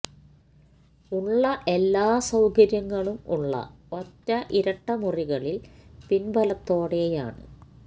ഉള്ള എല്ലാ സൌകര്യങ്ങളും ഉള്ള ഒറ്റ ഇരട്ട മുറികളിൽ പിന്ബലത്തോടെയാണ്